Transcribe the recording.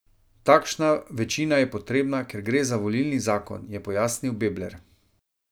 Takšna večina je potrebna, ker gre za volilni zakon, je pojasnil Bebler.